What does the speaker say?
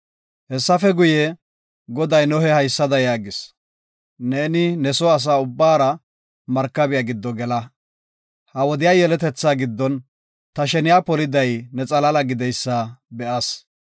Hessafe guye, Goday Nohe haysada yaagis; “Neeni ne soo asa ubbaara markabiya giddo gela. Ha wodiya yeletethaa giddon ta sheniya poliday ne xalaala gididaysa be7as.